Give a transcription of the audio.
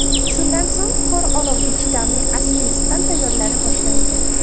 Shundan so‘ng qor olovga chidamli asbestdan tayyorlana boshlangan.